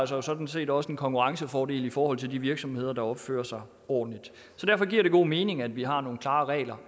sig sådan set også en konkurrencefordel i forhold til de virksomheder der opfører sig ordentligt så derfor giver det god mening at vi har nogle klare regler